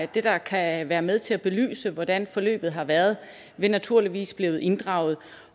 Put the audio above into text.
det der kan være med til at belyse hvordan forløbet har været vil naturligvis blive inddraget